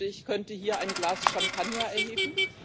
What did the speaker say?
Ich wünschte, ich könnte hier ein Glas Champagner erheben.